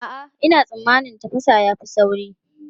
A'a, ina tsammanin tafasa ya fi sauri.